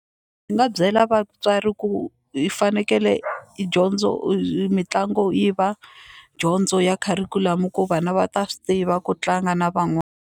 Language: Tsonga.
Ni nga byela vatswari ku hi fanekele hi dyondzo mitlangu yi va dyondzo ya kharikhulamu ku vana va ta swi tiva ku tlanga na .